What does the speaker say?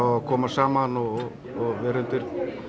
að koma saman og vera undir